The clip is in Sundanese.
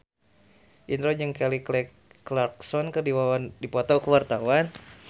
Indro jeung Kelly Clarkson keur dipoto ku wartawan